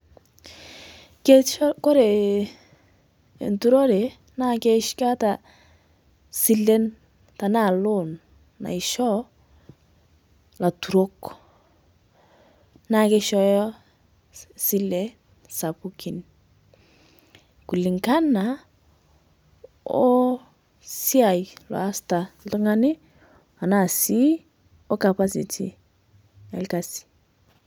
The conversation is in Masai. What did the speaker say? Keishoo, kore enturore naa keeta sileen tana loan naishoo laturok. Naa keishooyo sileen sapukin kulingana o siai loasitaa ltung'ani ana sii o capacity e lkasi.